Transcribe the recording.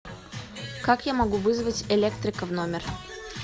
как я могу вызвать электрика в номер